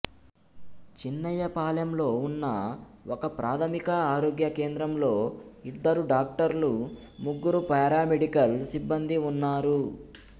చిన్నయ్యపాలెంలో ఉన్న ఒకప్రాథమిక ఆరోగ్య కేంద్రంలో ఇద్దరు డాక్టర్లు ముగ్గురు పారామెడికల్ సిబ్బందీ ఉన్నారు